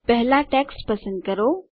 પહેલાં ટેક્સ્ટ પસંદ કરો